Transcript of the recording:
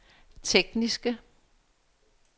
tekniske